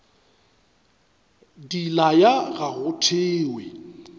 di laya ga go thewe